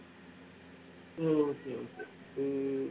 உம் okay okay உம்